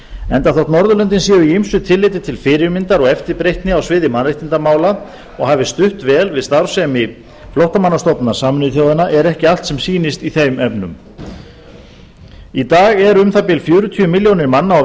enda þótt norðurlöndin séu í ýmsu tilliti til fyrirmyndar og eftirbreytni á sviði mannréttindamála og hafi stutt vel við starfsemi flóttamannastofnunar sameinuðu þjóðanna er ekki allt sem sýnist í þeim efnum í dag eru um það bil fjörutíu milljónir manna á